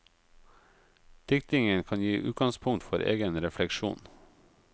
Diktningen kan gi utgangspunkt for egen refleksjon.